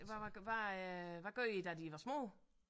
Hvad var hvad øh hvad gør I da de var små